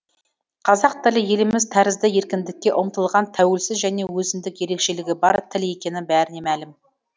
қазақ тілі еліміз тәрізді еркіндікке ұмтылған тәуелсіз және өзіндік ерекшелігі бар тіл екені бәріне мәлім